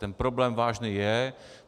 Ten problém vážný je.